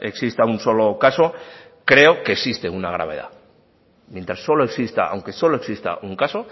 exista un solo caso creo que existe una gravedad mientras solo exista aunque solo exista un caso